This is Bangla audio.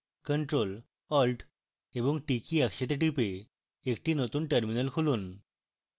ctrl + alt + t কী একসাথে টিপে একটি নতুন terminal খুলুন